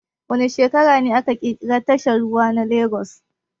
Wa ne shekara ne aka kirkiri tashar ruwa na Lagas